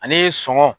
Ani sɔngɔ